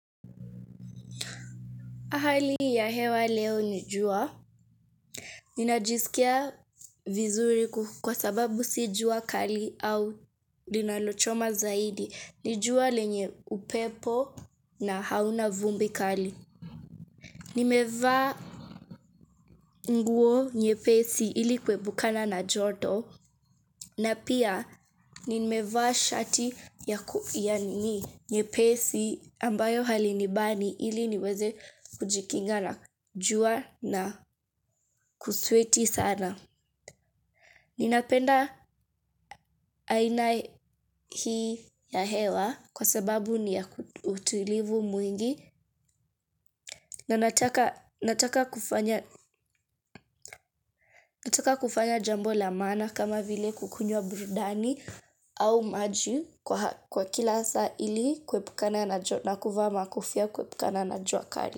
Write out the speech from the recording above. Hali ya hewa leo jua, ninajisikia vizuri kwa sababu sijua kali au linalochoma zaidi. Ni jua lenye upepo na hauna vumbi kali. Nimeva nguo nyepesi ili kwebukana na joto. Na pia nimeva shati ya ku ya nini nyepesi ambayo halinibani ili niweze kujikinga na jua na kusweti sana. Ninapenda aina hii ya hewa kwa sababu ni ya utulivu mwingi. Nataka kufanya jambo la maana kama vile kukunywa burudani au maju kwa kila saa ili kwepukana na kuva makofia kwepukana na juakari.